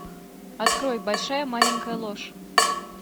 открой большая маленькая ложь